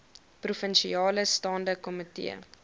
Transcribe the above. provinsiale staande komitee